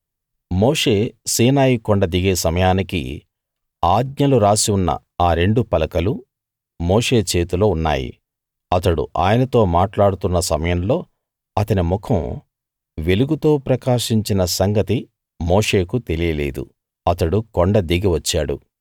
మోషే Sinai కొండ దిగే సమయానికి ఆజ్ఞలు రాసి ఉన్న ఆ రెండు పలకలు మోషే చేతిలో ఉన్నాయి అతడు ఆయనతో మాట్లాడుతున్న సమయంలో అతని ముఖం వెలుగుతో ప్రకాశించిన సంగతి మోషేకు తెలియలేదు అతడు కొండ దిగి వచ్చాడు